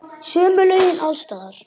Sömu lögin alls staðar.